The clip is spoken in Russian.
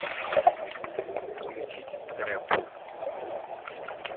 включить трэп